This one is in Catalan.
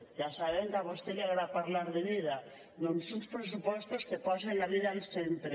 ja sabem que a vostè li agrada parlar de vida doncs uns pressupostos que posen la vida al centre